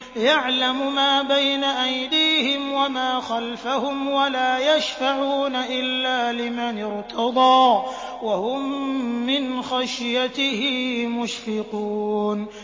يَعْلَمُ مَا بَيْنَ أَيْدِيهِمْ وَمَا خَلْفَهُمْ وَلَا يَشْفَعُونَ إِلَّا لِمَنِ ارْتَضَىٰ وَهُم مِّنْ خَشْيَتِهِ مُشْفِقُونَ